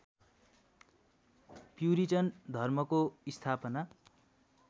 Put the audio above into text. puritan धर्मको स्थापना